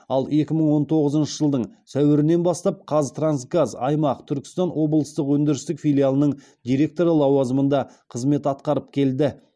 ал екі мың он тоғызыншы жылдың сәуірінен бастап қазтрансгаз аймақ түркістан облыстық өндірістік филиалының директоры лауазымында қызмет атқарып келді